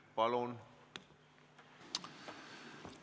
Palun!